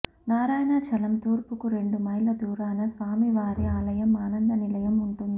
నారాయణాచలం తూర్పుకు రెండు మైళ్ళ దూరాన స్వామివారి ఆలయం ఆనంద నిలయం ఉంటుంది